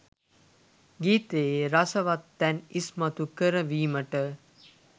ගීතයේ රසවත් තැන් ඉස්මතු කරවීමට